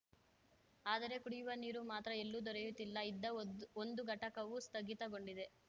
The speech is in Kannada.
ಆದರೆ ಕುಡಿಯುವ ನೀರು ಮಾತ್ರ ಎಲ್ಲೂ ದೊರೆಯುತ್ತಿಲ್ಲ ಇದ್ದ ಒದ್ ಒಂದು ಘಟಕವೂ ಸ್ಥಗಿತಗೊಂಡಿದೆ